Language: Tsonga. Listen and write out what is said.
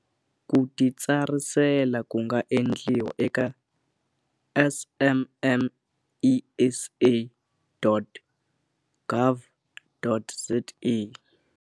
Ku titsarisela ku nga endliwa eka smmesa.gov.za.